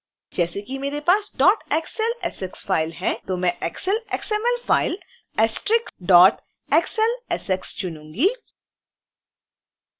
जैसे कि मेरे पास dotxlsx file है तो मैं excel xml file*xlsx चुनूँगी